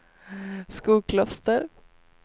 Skokloster